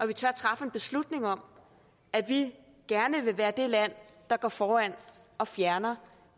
vi tør træffe en beslutning om at vi gerne vil være det land der går foran og fjerner